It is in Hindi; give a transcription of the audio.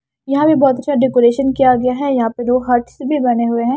यहां भी बहुत अच्छा डेकोरेशन किया गया है यहां पे दो हर्ट्स भी बने हुए हैं।